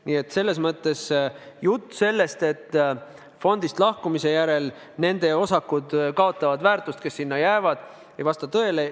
Nii et jutt sellest, et fondist lahkumise järel nende inimeste osakud, kes sinna jäävad, kaotavad väärtust, ei vasta tõele.